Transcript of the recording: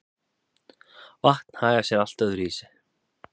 vatn hagar sé allt öðru vísi